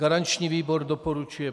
Garanční výbor doporučuje